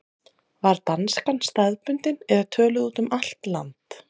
Var danskan staðbundin eða töluð út um allt land?